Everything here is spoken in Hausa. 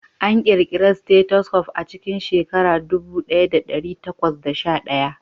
An ƙirƙira stethoscope a cikin shekara ɗubu ɗaya da ɗari takwas da sha shida